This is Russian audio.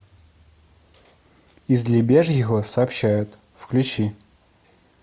из лебяжьего сообщают включи